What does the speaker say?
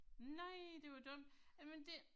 Nej det var dumt, jamen det